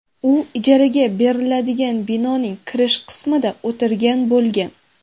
U ijaraga beriladigan binoning kirish qismida o‘tirgan bo‘lgan.